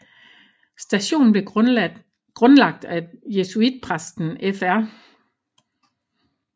Stationen blev grundlagt af jesuitpræsten Fr